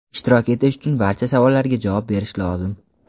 ishtirok etish uchun barcha savollarga javob berish lozim.